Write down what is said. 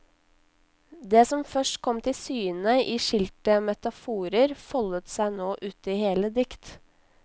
Det som først kom til syne i skilte metaforer foldet seg nå uti hele dikt.